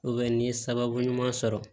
n ye sababu ɲuman sɔrɔ